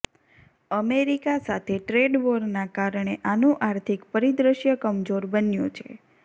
America સાથે trade વોરના કારણે આનું આર્થિક પરિદ્રશ્ય કમજોર બન્યું છે